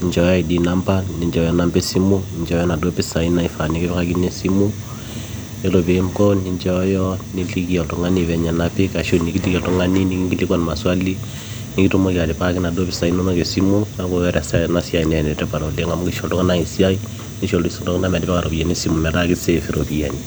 ni njooyo id number ninchooyo inamba esimu ninchooyo inaduo pesai naifaa nikipikakini esimu yiolo peinko ninchooyo niliki oltung'ani venye napik ashuu nikiliki oltung'ani nikinkilikua maswali nikitumoki atipikaki inaduo pisai inonok esimu neeku eesata ena siai naa enetipat oleng amu keisho iltung'anak esiai neisho iltung'anak metipika iropiyiani esimu naa keisave iropiyiani.